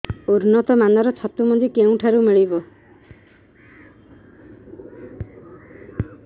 ଉନ୍ନତ ମାନର ଛତୁ ମଞ୍ଜି କେଉଁ ଠାରୁ ମିଳିବ